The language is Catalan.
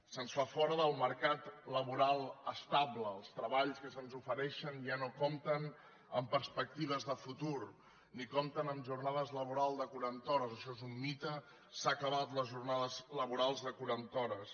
se’ns fa fora del mercat laboral estable els treballs que se’ns ofereixen ja no compten amb perspectives de futur ni compten amb jornades laborals de quaranta hores això és un mite s’han acabat les jornades laborals de quaranta hores